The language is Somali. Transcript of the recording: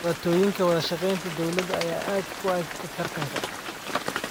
Dhibaatooyinka wada shaqeynta dowladda ayaa ku adkeyd taranta.